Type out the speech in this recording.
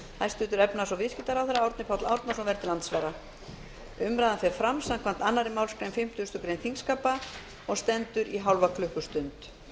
hæstvirtur efnahags og viðskiptaráðherra árni páll árnason verður til andsvara umræðan fer fram samkvæmt annarri málsgrein fimmtugustu grein þingskapa og stendur í hálfa klukkustund